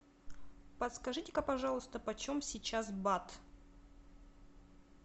подскажите ка пожалуйста почем сейчас бат